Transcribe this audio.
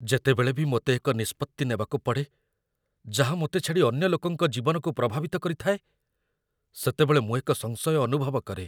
ଯେତେବେଳେ ବି ମୋତେ ଏକ ନିଷ୍ପତ୍ତି ନେବାକୁ ପଡ଼େ, ଯାହା ମୋତେ ଛାଡ଼ି ଅନ୍ୟ ଲୋକଙ୍କ ଜୀବନକୁ ପ୍ରଭାବିତ କରିଥାଏ, ସେତେବେଳେ ମୁଁ ଏକ ସଂଶୟ ଅନୁଭବ କରେ ।